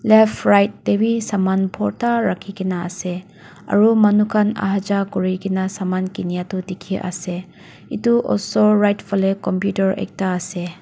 left right tae bi saman borta rakhikae naase aru manu khan aha jaha kurikaena saman kinya tu dikhiase edu osor right falae computer ekta ase.